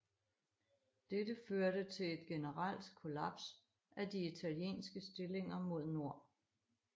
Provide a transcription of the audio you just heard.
Dette førte til et generelt kollaps af de italienske stillinger mod nord